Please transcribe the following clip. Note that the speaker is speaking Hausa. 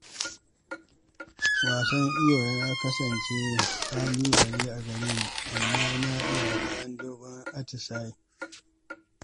Koyon iyo ya kasance ƙalubale a gare ni amma na iya bayan dogon atisaye.